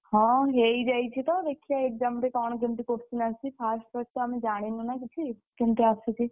ହଁ ହେଇଯାଇଛି ତ ଦେଖିଆ exam ରେ କଣ କେମିତି question ଆସୁଛି first ବର୍ଷ ଆମେ ଜାଣିନୁ ନା କିଛି କେମିତି ଆସୁଛି।